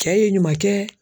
Cɛ ye ɲuman kɛ